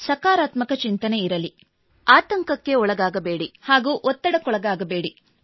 ಸಕಾರಾತ್ಮಕ ಚಿಂತನೆ ಇರಲಿ ಆತಂಕಕ್ಕೊಳಗಾಗಬೇಡಿ ಹಾಗೂ ಒತ್ತಡಕ್ಕೊಳಗಾಗಬೇಡಿ